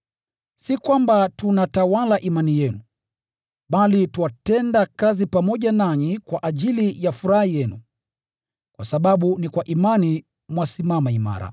Si kwamba tunatawala imani yenu, bali twatenda kazi pamoja nanyi kwa ajili ya furaha yenu, kwa sababu ni kwa imani mwasimama imara.